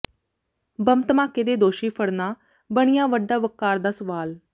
bomb ਧਮਾਕੇ ਦੇ ਦੋਸ਼ੀ ਫੜਨਾ ਬਣਿਆ ਵੱਡਾ ਵੱਕਾਰ ਦਾ ਸਵਾਲ